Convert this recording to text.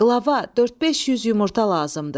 Qlava, 4-5 yüz yumurta lazımdır.